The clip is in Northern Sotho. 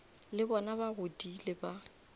le bona ba godile ba